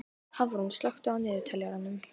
Hafrún, slökktu á niðurteljaranum.